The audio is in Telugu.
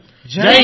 ధన్యవాదాలు